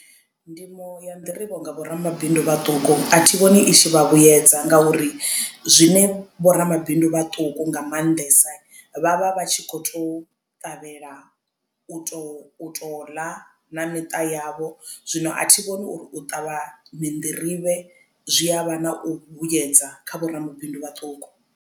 Ndimo ya nḓirivhe nga vhoramabindu vhaṱuku a thi vhoni i tshi vha vhuyedza ngauri zwine vhoramabindu vhaṱuku nga maanḓesa vhavha vhatshi kho tou ṱavhela u to u to ḽa na miṱa yavho zwino a thi vhoni uri u ṱavha minḓirivhe zwi avha na u vhuyedza kha vhoramabindu vhaṱuku.